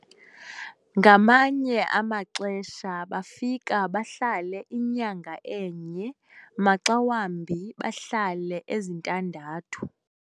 ngamanye amaxesha bafika bahlale inyanga enye, maxa wambi bahlale ezintandathu